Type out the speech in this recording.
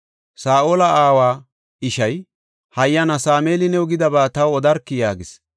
Saa7ola aawa ishay, “Hayyana Sameeli new gidaba taw odarkii” yaagis.